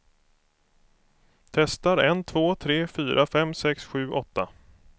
Testar en två tre fyra fem sex sju åtta.